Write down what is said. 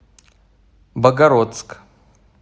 богородск